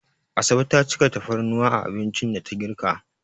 Asabe ta cika tafarnuwa a abincin da ta girka.